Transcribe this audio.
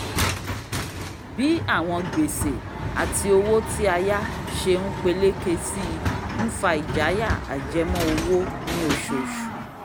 bí àwọn gbèsè àti owó tí a yá ṣe ń peléke sí i ń fa ìjayà ajẹmọ́ owó ní oṣooṣù